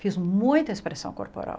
Fiz muita expressão corporal.